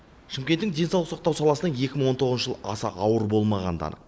шымкенттің денсаулық сақтау саласына екі мың он тоғызыншы жыл аса ауыр болмағаны да анық